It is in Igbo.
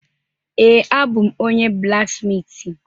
Ee, abụ m onye blaksmitị.